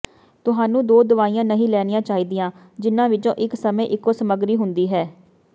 ਤੁਹਾਨੂੰ ਦੋ ਦਵਾਈਆਂ ਨਹੀਂ ਲੈਣੀਆਂ ਚਾਹੀਦੀਆਂ ਜਿਹਨਾਂ ਵਿੱਚ ਇੱਕੋ ਸਮੇਂ ਇੱਕੋ ਸਮਗਰੀ ਹੁੰਦੀ ਹੈ